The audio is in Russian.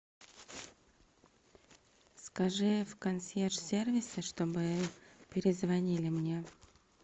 скажи в консьерж сервисе чтобы перезвонили мне